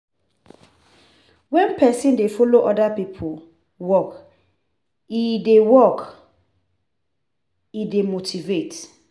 wen person dey follow oda pipo work, e dey work e dey motivate